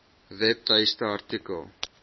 webtuiste artikel